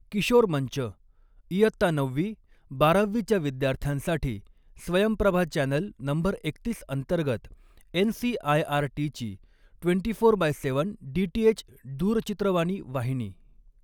किशोर मंच, इयत्ता नववी, बारावीच्या विद्यार्थ्यांसाठी स्वयंप्रभा चॅनल नंबर एकतीस अंतर्गत एनसीआयआरटीची ट्वेंटी फोर बाय सात डीटीएच दूरचित्रवाणी वाहिनी